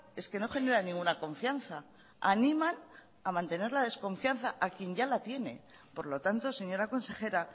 es que no generan ninguna confianza animan a mantener la desconfianza a quien ya la tiene por lo tanto señora consejera